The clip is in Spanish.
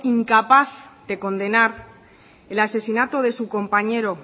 incapaz de condenar el asesinato de su compañero